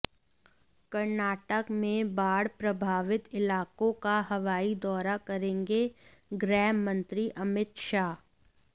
कर्नाटक में बाढ़ प्रभावित इलाकों का हवाई दौरा करेंगे गृह मंत्री अमित शाह